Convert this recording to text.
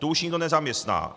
Tu už nikdo nezaměstná.